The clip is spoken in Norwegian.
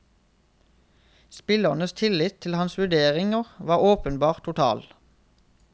Spillernes tillit til hans vurderinger var åpenbart total.